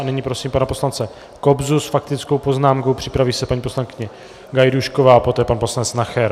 A nyní prosím pana poslance Kobzu s faktickou poznámkou, připraví se paní poslankyně Gajdůšková a poté pan poslanec Nacher.